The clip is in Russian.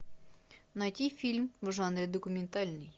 найти фильм в жанре документальный